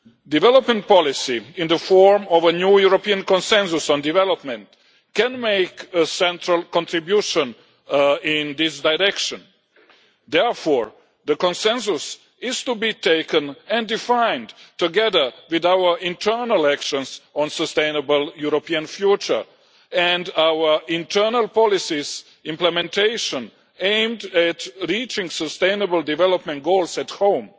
Development policy in the form of a new European consensus on development can make a central contribution in this direction. Therefore, the consensus is to be taken and defined together with our internal actions on a sustainable European future and our internal policies implementation, aimed at reaching sustainable development goals at home.